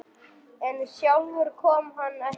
En sjálfur kom hann ekki nær.